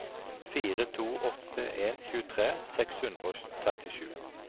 fire to åtte en tjuetre seks hundre og trettisju